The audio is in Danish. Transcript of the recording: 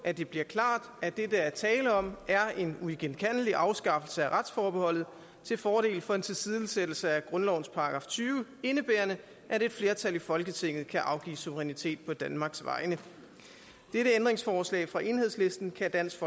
at det bliver klart at det der er tale om er en uigenkaldelig afskaffelse af retsforbeholdet til fordel for en tilsidesættelse af grundlovens § tyve indebærende at et flertal i folketinget kan afgive suverænitet på danmarks vegne dette ændringsforslag fra enhedslisten kan dansk